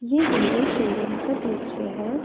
यह Honda showroom का दृश्य है।